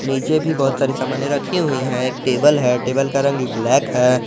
नीचे भी बहुत सारी सामाने रखी हुई है एक टेबल है टेबल का रंग ब्लैक है।